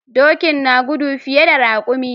Doki na gudu fiye da raƙumi.